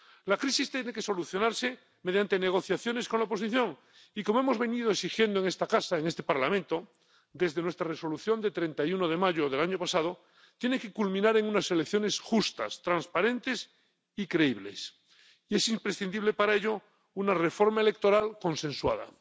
La crisis tiene que solucionarse mediante negociaciones con la oposición y, como hemos venido exigiendo en este Parlamento desde nuestra Resolución de 31 de mayo del año pasado, tiene que culminar en unas elecciones justas, transparentes y creíbles. Es imprescindible para ello una reforma electoral consensuada.